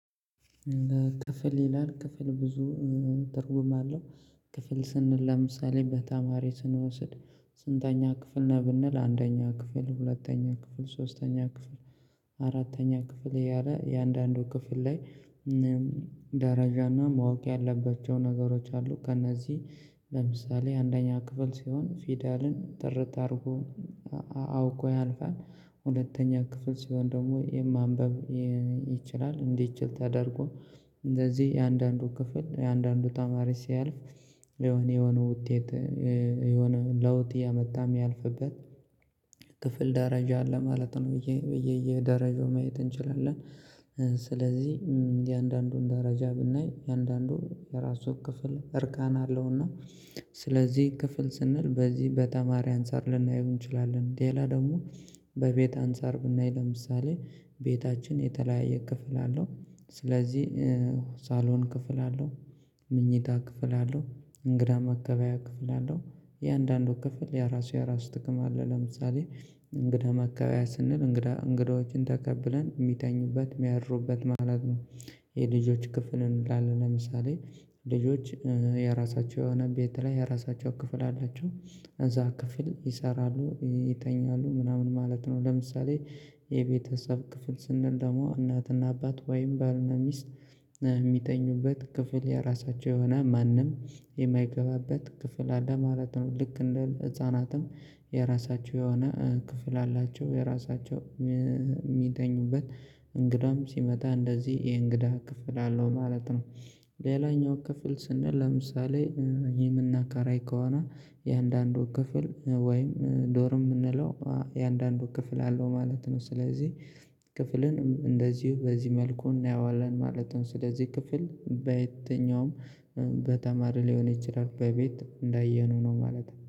ክፍል ይላል ክፍል ብዙ ትርጉም አለው ክፍል ስንል ለምሳሌ በተማሪ ስንወስድ ስንተኛ ክፍል ነህ ብንል አንደኛ ክፍል ሁለተኛ ክፍል ሶስተኛ ክፍል አራተኛ ክፍል ያለ የአንዳንዱ ክፍል ላይ ደረጃና ማወቅ ያለባቸው ነገሮች አሉ ከእነዚህ ለምሳሌ አንደኛ ክፍል ሲሆን ፊደልን ጥርት አድርጎ አውቆ ያልፋል ሁለተኛ ክፍል ሲሆን ደግሞ የማንበብ ይችላል እንዲችል ተደርጎ እንደዚህ የአንዳንዱ ክፍል የአንዳንዱ ተማሪ ሲያልፍ የሆነ የሆነ ውጤት የሆነ ለውጥ እያመጣም ያልፍበት ክፍል ደረጃ አለ ማለት ነው ብዬ በየየ ደረጃው ማየት እንችላለን። ስለዚህ የአንዳንዱን ደረጃ ብናይ የአንዳንዱ የራሱ ክፍል እርካን አለውና ስለዚህ ክፍል ስንል በዚህ በተማሪ አንፃር ልናየው እንችላለን ሌላ ደግሞ በቤት አንፃር ብናይ ለምሳሌ ቤታችን የተለያየ ክፍል አለው ስለዚህ ሳሎን ክፍል አለው ምኞታ ክፍል አለው እንግዳ መቀበያ ክፍል አለው የአንዳንዶቹ ክፍል የራሱ የራሱ ጥቅም አለው፤ ለምሳሌ እንግዳ መቀበያ ስንል እንግዳ እንግዳዎችን ተቀብለን የሚተኙበት የሚያድሩበት ማለት ነው። የልጆች ክፍል እንዳለ ለምሳሌ ልጆች የራሳቸው የሆነ ቤት ላይ የራሳቸው ክፍል አላቸው እዛ ክፍል ይሰራሉ ይተኛሉ ምናምን ማለት ነው ለምሳሌ የቤተሰብ ክፍል ስንል ደግሞ እናትና አባት ወይም ባልና ሚስት የሚተኙበት ክፍል የራሳቸው የሆነ ማንም የማይገባበት ክፍል አለ ማለት ነው። ልክ እንደ ህፃናትም የራሳቸው የሆነ ክፍል አላቸው የራሳቸው የሚተኙበት እንግዳም ሲመጣ እንደዚህ የእንግዳ ክፍል አለው ማለት ነው። ሌላኛው ክፍል ስንል ለምሳሌ የምናከራይ ከሆነ የአንዳንዱ ክፍል ወይም ዶርም የምንለው የአንዳንዱ ክፍል አለው ማለት ነው ስለዚህ ክፍልን እንደዚሁ በዚህ መልኩ እናየዋለን ማለት ነው። ስለዚህ ክፍል በየትኛውም በተማሪ ሊሆን ይችላል በቤት እንዳየነው ነው ማለት ነው፤